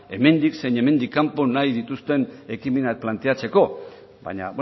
hemendik zein hemendik kanpo nahi dituzten ekimenak planteatzeko baina